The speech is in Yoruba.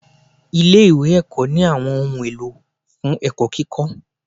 Ilé ìwé ẹ̀kọ́ ní àwọn ohun èlò fún ẹ̀kọ́ kíkọ́.